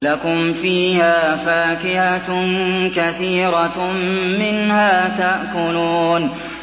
لَكُمْ فِيهَا فَاكِهَةٌ كَثِيرَةٌ مِّنْهَا تَأْكُلُونَ